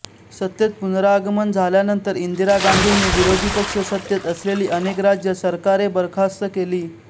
सत्तेत पुनरागमन झाल्यानंतर इंदिरा गांधींनी विरोधी पक्ष सत्तेत असलेली अनेक राज्य सरकारे बरखास्त केली